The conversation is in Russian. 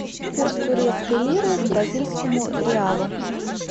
курс турецкой лиры к бразильскому реалу